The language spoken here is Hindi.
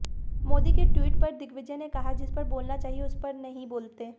मोदी के ट्वीट पर दिग्विजय ने कहा जिस पर बोलना चाहिए उस पर नहीं बोलते